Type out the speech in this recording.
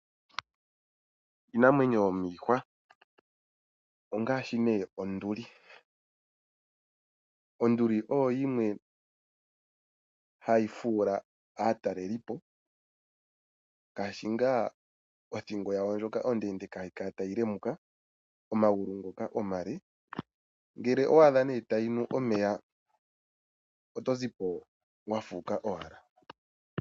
Iinamwenyo yomiihwa ongaashi nee onduli . Onduli oyo yimwe hayi fuula aatalelipo ngaashi ngaa othingo yawo ndjoka ondeendeka haii kala tayi lemuka, omagulu ngoka omale . Ngele owa adha nee tayinu omeya otozipo wa fuuka owala.